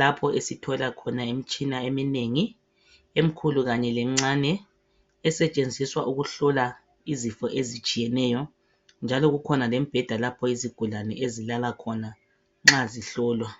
lapho esithola khona imitshina eminengi emikhulu kanye lemincane esetshenziswa ukuhlola izifo ezitshiyeneyo njalo ikhona imibheda lapha izigulane ezilala khonana nxa zihlolwa